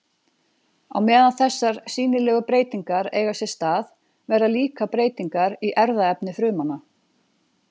Á meðan þessar sýnilegu breytingar eiga sér stað verða líka breytingar í erfðaefni frumanna.